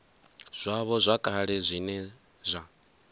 zwavho zwa kale zwine zwa